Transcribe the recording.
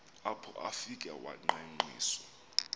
apho afike wangqengqiswa